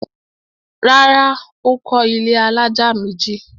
Rárá, Ó kọ́ ilẹ́ alájà méjì